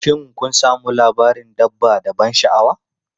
Shin kun sami labarin dabba da ban sha'awa?